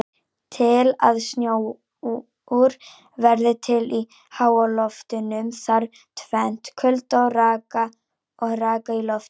Til að snjór verði til í háloftunum þarf tvennt: Kulda og raka í loftinu.